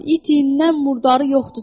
İtindən murdarı yoxdur.